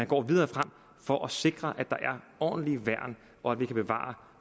gå videre frem for at sikre at der er ordentlige værn og at vi kan bevare